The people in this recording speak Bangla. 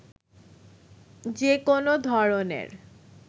যে কোনো ধরনের